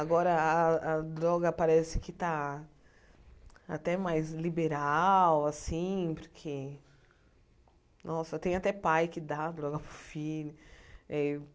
Agora a a droga parece que tá até mais liberal, assim, porque... Nossa, tem até pai que dá droga para o filho.